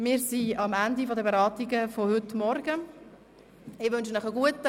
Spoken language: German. Wir sind am Ende der Beratungen von heute Morgen angelangt.